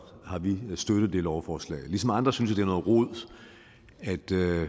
har vi støttet det lovforslag ligesom andre synes jeg det er